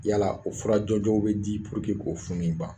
Yala o fura jɔnjɔw be di k'o funu in ban.